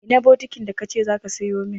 Ina bukitin da ka ce za ka sayo min?